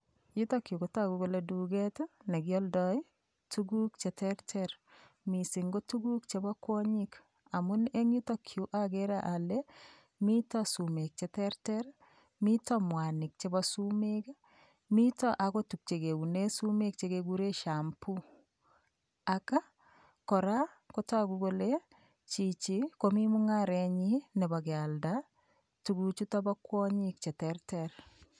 Yutoyu kotogu kole duket nekioldoi tukuk cheterter, mising ko tukuk chebo kwonyik. Amun eng yutokyu agere ale mito sumek cheteretr, mito mwanik chebo sumek mito akot tukchekeune sumek chekegure shampoo. Ak kora kotogu kole chichi komi mung, arenyi nebo kealda tukuchutok bo kwonyik che terter.